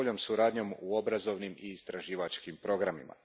boljom suradnjom u obrazovnim i istraživačkim programima.